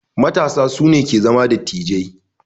Matasa su ne ke zama dattijai.